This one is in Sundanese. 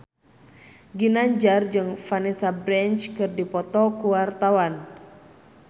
Ginanjar jeung Vanessa Branch keur dipoto ku wartawan